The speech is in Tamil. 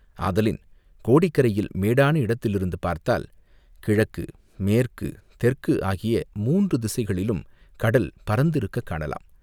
ஆதலின் கோடிக்கரையில் மேடான இடத்திலிருந்து பார்த்தால் கிழக்கு மேற்கு தெற்கு ஆகிய மூன்று திசைகளிலும் கடல் பரந்திருக்கக் காணலாம்.